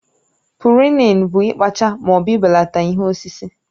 Pụrunin bụ ikpaacha ma ọ bụ ibelata ihe osisi